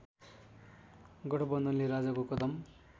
गठबन्धनले राजाको कदम